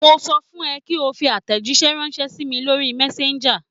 Mo sọ fun kí ó fi àtẹ̀jíṣẹ́ ránṣẹ́ sí mi lórí Messenger.